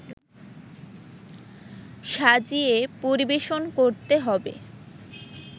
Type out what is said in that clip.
সাজিয়ে পরিবেশন করতে হবে